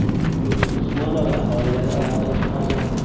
Yulduz Usmonova oilada oltinchi farzand .